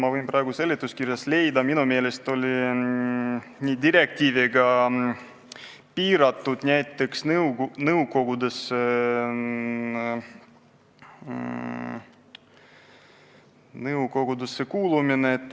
Aga otsin praegu seletuskirjast, minu meelest on direktiivi kohaselt piiratud näiteks nõukogudesse kuulumine.